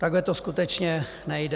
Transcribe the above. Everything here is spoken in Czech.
Takhle to skutečně nejde.